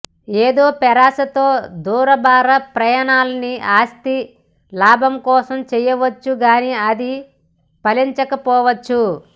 ఏదో పేరాసతో దూరభార ప్రయాణాలని ఆస్తి లాభం కోసం చేయచ్చుగాని అది ఫలించకపోవచ్చు